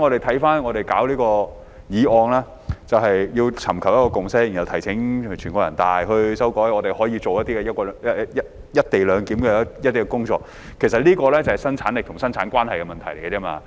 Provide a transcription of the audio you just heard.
回看這項議案，它旨在尋求一個共識，然後提請全國人民代表大會常務委員會作出修改，讓我們可以進行"一地兩檢"的工作，這其實是生產力與生產關係的問題而已。